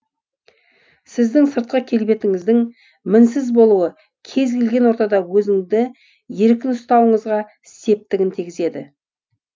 сіздің сыртқы келбетіңіздің мінсіз болуы кез келген ортада өзіңізді еркін ұстауыңызға септігін тигізеді